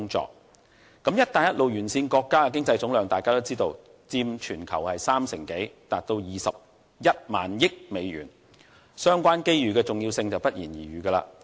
眾所周知，"一帶一路"沿線國家的經濟總量佔全球三成多，達21萬億美元，相關機遇的重要性不言而喻。